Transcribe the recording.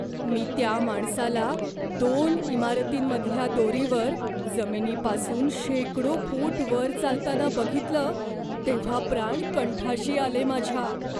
मी त्या माणसाला दोन इमारतींमधल्या दोरीवर जमिनीपासून शेकडो फूट वर चालताना बघितलं तेव्हा प्राण कंठाशी आले माझ्या.